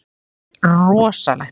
Það yrði rosalegt.